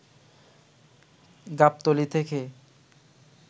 গাবতলী থেকে